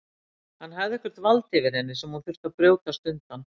Hann hafði eitthvert vald yfir henni sem hún þurfti að brjótast undan.